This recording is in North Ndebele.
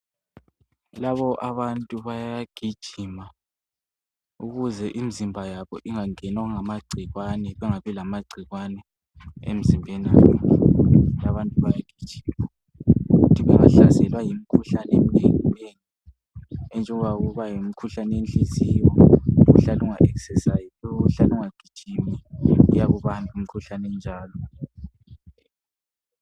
Labo abantu bayagijima ukuze imzimba yabo ingangenwa ngamagcikwane, bengabi lamagcikwane emzimbeni yabo. Labantu bayagijima ukuthi bengahlaselwa yimkhuhlane eminenginengi enjengoba yimkhuhlane wenhiziyo, ohlala unga exerciziyo, ohlala ungagijimi uyakubamba umkhuhlane onjalo